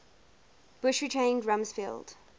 bush retained rumsfeld